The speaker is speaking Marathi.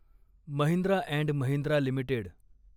Mahindra and Mahindra limited